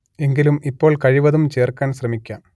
എങ്കിലും ഇപ്പോൾ കഴിവതും ചേർക്കാൻ ശ്രമിക്കാം